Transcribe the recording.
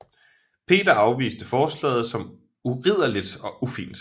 Peter afviste forslaget som uridderligt og ufint